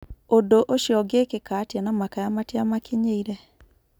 Ũndũ ũcio ũngĩkĩka atĩa na makaya matiamakinyeire?